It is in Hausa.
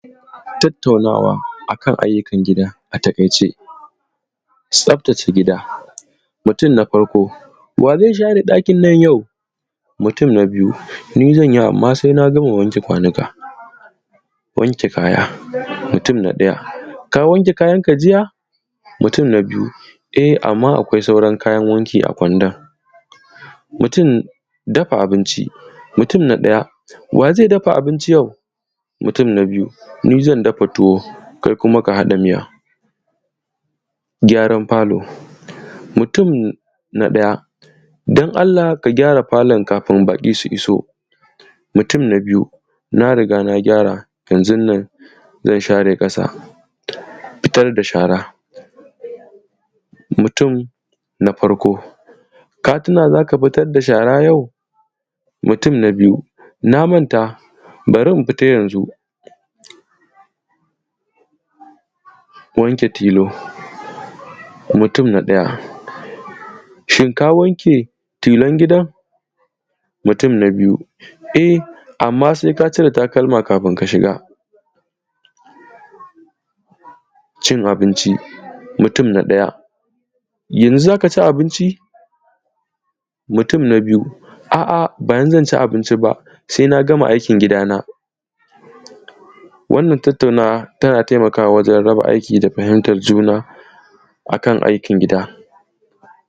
tattaunawa a kan ayyukan gida a taƙaice tsaftace gida mutun na farko wa zai share ɗakin nan yau mutum na biyu ni zanyi amman sai na gama wanke kwanuka wanke kaya mutum na ɗaya ka wanke kayanka jiya mutum na biyu e amman akwai sauran kayan wanki a kwandon dafa abinci mutum na ɗaya wa zai dafa abinci yau mutum na biyu ni zan dafa tuwo kai kuma ka haɗa miya gyaran falo mutum na ɗaya don allah ka gyara falon kafin baƙi su iso mutum na biyu na riga na gyara yanzun nan zan share ƙasa fitar da shara mutum na farko ka tuna za ka fitar da shara yau mutum na biyu na manta bari in fita yanzu wanke tilo mutum na ɗaya shin ka wanke tilon gidan mutum na biyu eh amman seka cire takalma kafun ka shiga cin abinci mutum na ɗaya yanzu za ka ci abinci mutum na biyu a’a ba yanzu zan ci abinci ba sai na gama aikin gidana wannan tattaunawa tana taimakawa wajan raba aiki da fahimtar juna akan aikin gida